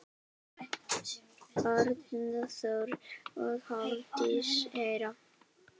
Arnþór og Hafdís Hera.